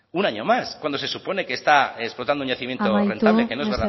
un año más cuando se supone que está explotando un yacimiento amaitu mesedez